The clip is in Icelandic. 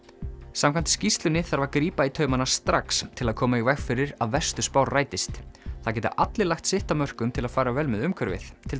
samkvæmt skýrslunni þarf grípa þarf í taumana strax til að koma í veg fyrir að verstu spár rætist það geta allir lagt sitt af mörkum til að fara vel með umhverfið til